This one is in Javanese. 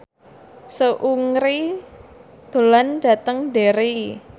Seungri lunga dhateng Derry